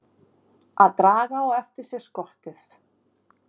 Að draga á eftir sér skottið